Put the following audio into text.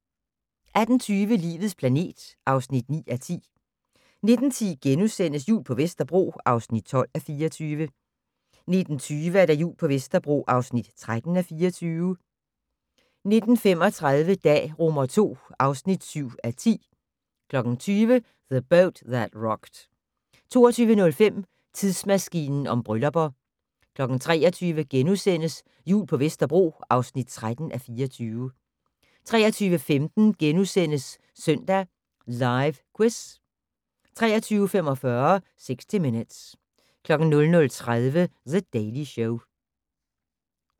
18:20: Livets planet (9:10) 19:10: Jul på Vesterbro (12:24)* 19:20: Jul på Vesterbro (13:24) 19:35: Dag II (7:10) 20:00: The Boat That Rocked 22:05: Tidsmaskinen om bryllupper 23:00: Jul på Vesterbro (13:24)* 23:15: Søndag Live Quiz * 23:45: 60 Minutes 00:30: The Daily Show